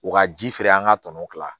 U ka ji feere an ka tɔnɔ kila